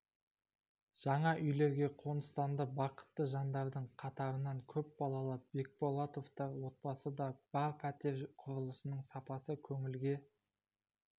жаңа үйлерге қоныстанды бақытты жандардың қатарында көпбалалы бекболатовтар отбасы да бар пәтер құрылысының сапасы көңілге